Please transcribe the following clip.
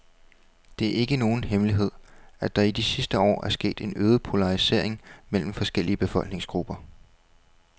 Det er ikke nogen hemmelighed, at der i de sidste år er sket en øget polarisering mellem forskellige befolkningsgrupper.